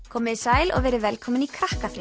komiði sæl og verið velkomin í